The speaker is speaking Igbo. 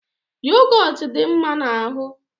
yogot di mma n'ahu